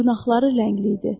Dırnaqları rəngli idi.